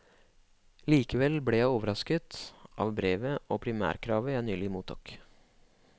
Likevel ble jeg overrasket av brevet og primærkravet jeg nylig mottok.